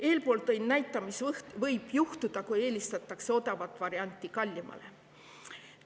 Eelpool tõin näite selle kohta, mis võib juhtuda siis, kui eelistatakse odavat varianti kallimale.